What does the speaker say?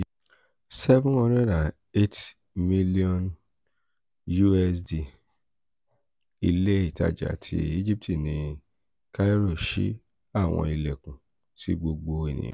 us$ seven hundred eight m ile itaja ti egipti ni cairo ṣii awọn ilẹkun si gbogbo eniyan